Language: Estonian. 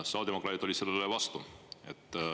Sotsiaaldemokraadid olid sellele vastu.